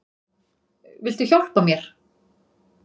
Viltu hjálpa mér?